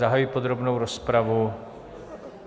Zahajuji podrobnou rozpravu.